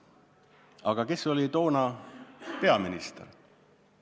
Aga kes oli toona peaminister?